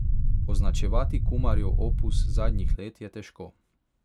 Označevati Kumarjev opus zadnjih let je težko.